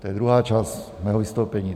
To je druhá část mého vystoupení.